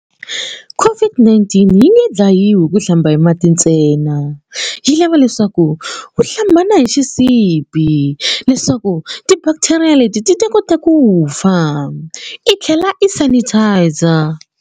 COVID-19 yi nge dlayiwi hi ku hlamba hi mati ntsena yi lava leswaku u hlamba na hi xisibi leswaku ti-bacteria leti ti ta kota ku fa i tlhela i sanitiser.